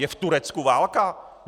Je v Turecku válka?